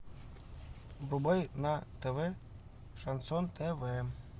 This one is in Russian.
врубай на тв шансон тв